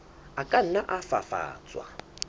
a ka nna a fafatswa